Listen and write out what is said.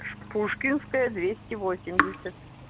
пушкинская двести восемьдесят